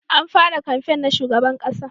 An fara kamfen na shugaban ƙasa